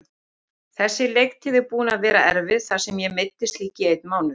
Þessi leiktíð er búin að vera erfið þar sem ég meiddist líka í einn mánuð.